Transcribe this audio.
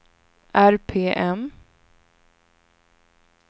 RPM